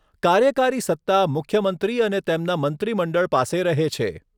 કાર્યકારી સત્તા મુખ્યમંત્રી અને તેમના મંત્રીમંડળ પાસે રહે છે.